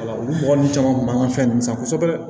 Olu mɔgɔ ninnu caman kun b'an ka fɛn ninnu san kosɛbɛ